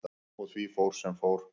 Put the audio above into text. Og því fór sem fór.